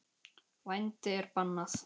Vændi er bannað.